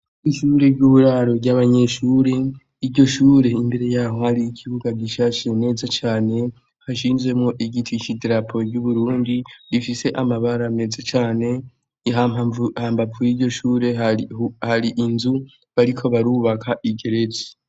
Ishure ry'uburaro ry'abanyeshuri, iryo shuri imbere yaho hari ikibuga gishashe ciza cane gishinzemwo igiti c'idarapo ryu Burundi rifise amabara meza cane, hambavu yiryo shure hari inzu bariko barubaka igeretse.